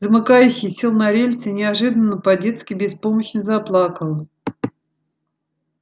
замыкающий сел на рельсы и неожиданно по-детски беспомощно заплакал